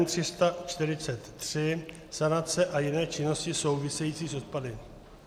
N343 - sanace a jiné činnosti související s odpady.